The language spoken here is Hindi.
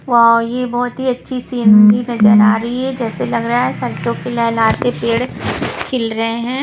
वाओ ये बहोत ही अच्छी सीन भी नजर आ रही हैं जैसे लग रहा है सरसो की लहराते पेड़ खिल रहे हैं।